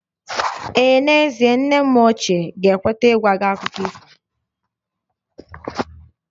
Ee n'ezie, nne m ochie ga-ekweta ịgwa gị akụkọ ifo